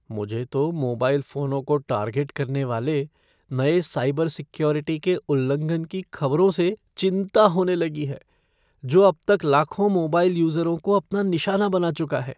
मुझे तो मोबाइल फ़ोनों को टार्गेट करने वाले नए साइबर सिक्योरिटी के उल्लंघन की खबरों से चिंता होने लगी है, जो अब तक लाखों मोबाइल यूज़रों को अपना निशाना बना चुका है।